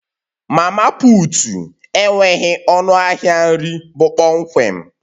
Mama putu enweghị ọnụ ahịa nri bụ kpọmkwem